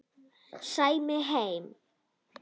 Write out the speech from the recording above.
Sæmi heima!